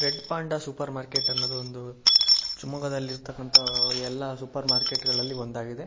Red panda supermarket ಅನ್ನೋದು ಒಂದು ಶಿವಮೊಗ್ಗ ದಲ್ಲಿ ಇರ್ತಕ್ಕಂತಹ ಎಲ್ಲ ಸೂಪರ್ ಮಾರ್ಕೆಟ್ಗ ಳಲ್ಲಿ ಒಂದಾಗಿದೆ .